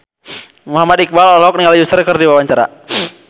Muhammad Iqbal olohok ningali Usher keur diwawancara